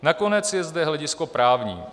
Nakonec je zde hledisko právní.